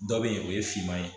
Dɔ be yen o ye finman ye